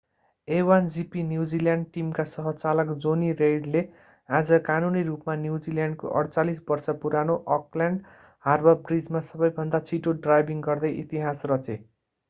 a1gp New Zealand टिमका सह-चालक jonny reid ले आज कानूनी रूपमा न्युजिल्यान्डको 48-वर्षे पुरानो अकल्यान्ड हार्बर ब्रिजमा सबैभन्दा छिटो ड्राइभिङ गर्दै इतिहास रचे